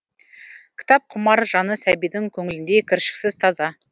кітапқұмар жаны сәбидің көңіліндей кіршіксіз таза